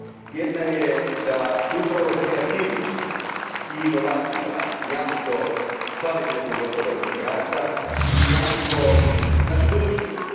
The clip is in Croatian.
Jedna je da su upravo kreativnost i inovacija jamstvo kvalitetnog gospodarskog rasta i jamstvo naše budućnosti.